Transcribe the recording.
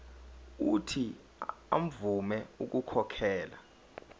uuthi avume ukukhokhela